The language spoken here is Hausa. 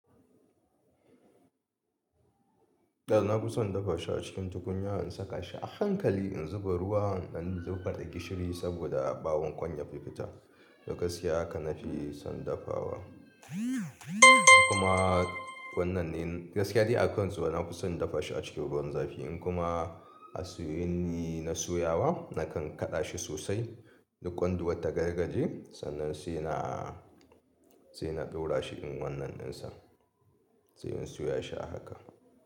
Da nafi san in dafa shi a cikin tukunya in saka shi a hankali in zuba ruwa, in ɗan rufe da gishiri saboda a ɓawon ƙwan ya fi fita. Da gaskiya haka na fi son dafawa. Kuma wannan ne gaskiya dai a kan su. Nafi san in dafa shi a cikin ruwan zafi in kuma a soye, ne na soyawa na kan kaɗa shi sosai duk ƙwanduwar ta gargaje. Sannan sai na, sai na ɗora shi in wannan ɗinsa sai in soya shi a haka.